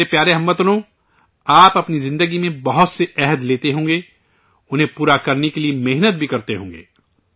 میرے پیارے ہم وطنو، آپ اپنی زندگی میں بہت سے عہد لیتے ہوں گے، انہیں پورا کرنے کے لیے محنت بھی کرتے ہوں گے